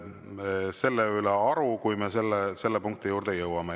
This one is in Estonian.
Pean selle üle aru, kui me selle punkti juurde jõuame.